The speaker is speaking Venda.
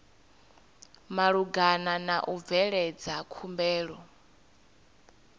malugana na u bveledza khumbelo